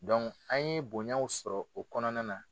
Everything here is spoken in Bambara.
an ye bonyaw sɔrɔ o kɔnɔna na.